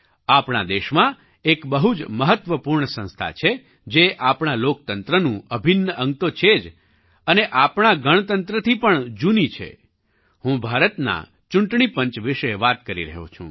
આપણા દેશમાં એક બહુ જ મહત્ત્વપૂર્ણ સંસ્થા છે જે આપણા લોકતંત્રનું અભિન્ન અંગ તો છે જ અને આપણા ગણતંત્રથી પણ જૂની છે હું ભારતના ચૂંટણી પંચ વિશે વાત કરી રહ્યો છું